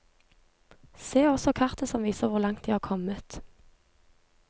Se også kartet som viser hvor langt de har kommet.